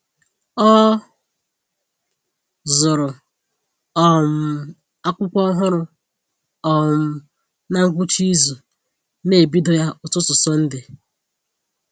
Ọ zụrụ um akwụkwọ ọhụrụ um na ngwụcha izu na ebido ya ụtụtụ Sọnde